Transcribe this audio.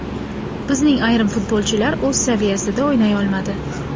Bizning ayrim futbolchilar o‘z saviyasida o‘ynay olmadi.